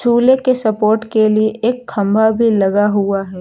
झूले के सपोर्ट के लिए एक खंभा भी लगा हुआ है।